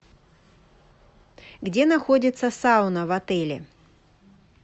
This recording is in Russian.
где находится сауна в отеле